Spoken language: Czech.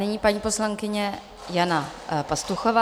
Nyní paní poslankyně Jana Pastuchová.